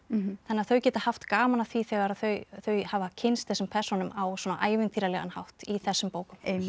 þannig að þau geta haft gaman af því þegar þau þau hafa kynnst þessum persónum á svona ævintýralegan hátt í þessum bókum